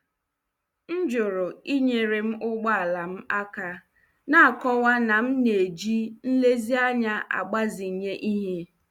M jụrụ inyere m ụgbọ ala m aka, na-akọwa na m na-eji nlezianya agbazinye ihe.